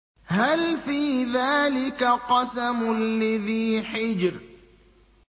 هَلْ فِي ذَٰلِكَ قَسَمٌ لِّذِي حِجْرٍ